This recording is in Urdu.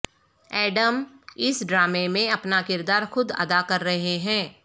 ایڈم اس ڈرامے میں اپنا کردار خود ادا کر رہے ہیں